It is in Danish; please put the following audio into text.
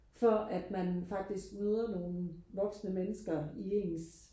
For at man faktisk møder nogle voksne mennesker i ens